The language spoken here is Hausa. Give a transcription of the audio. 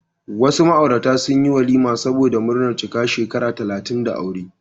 Wasu ma'aurata sun shirya walima saboda murnar cika shekara talatin da aure.